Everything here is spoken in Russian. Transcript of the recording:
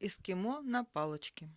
эскимо на палочке